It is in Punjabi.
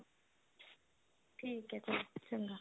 ਠੀਕ ਹੈ ਚਲ ਚੰਗਾ